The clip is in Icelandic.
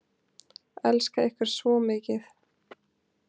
Elska ykkur svo mikið